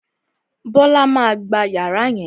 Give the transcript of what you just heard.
Bíọ́là má a gba yàrá yẹn